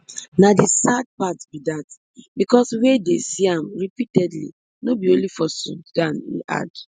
na di sad part be dat becos wey dey see am repeatedly no bi only for sudan im add